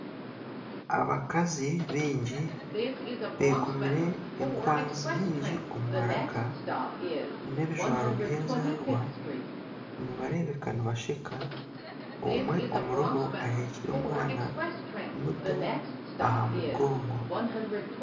Abakazi baingi bekomire enkwazi nyingi omu maraka n'ebijwaro by'ezarwa nibareebeka nibasheka omwe omuribo aheekire omwana muto aha mugongo.